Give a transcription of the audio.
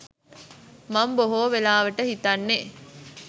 මං බොහෝ වෙලාවට හිතන්නෙ